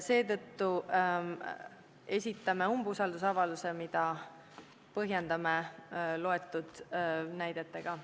Seetõttu esitame umbusaldusavalduse, mida põhjendame ette loetud näidetega.